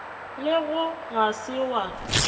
le go ga se wa